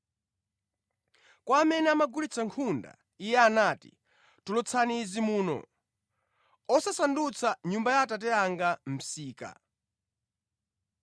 Kwa amene amagulitsa nkhunda, Iye anati, “Tulutsani izi muno! Osasandutsa Nyumba ya Atate anga msika!”